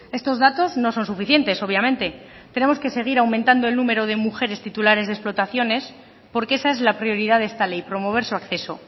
estos datos no son suficientes obviamente tenemos que seguir aumentando el número de mujeres titulares de explotaciones porque esa es la prioridad de esta ley promover su acceso